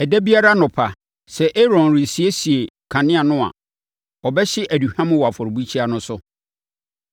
“Ɛda biara anɔpa, sɛ Aaron resiesie kanea no a, ɔbɛhye aduhwam wɔ afɔrebukyia no so.